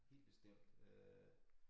Helt bestemt øh